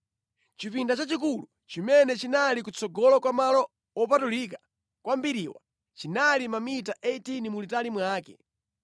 Chipinda chachikulu chimene chinali kutsogolo kwa Malo Wopatulika Kwambiriwa, chinali mamita 18 mulitali mwake.